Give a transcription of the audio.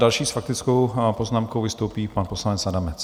Další s faktickou poznámkou vystoupí pan poslanec Adamec.